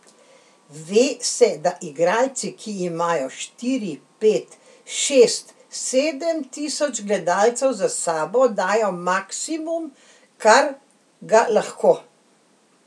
Ve se, da igralci, ki imajo štiri, pet, šest, sedem tisoč gledalcev za sabo, dajo maksimum, kar ga lahko.